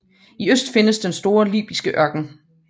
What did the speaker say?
I øst findes den store libyske ørken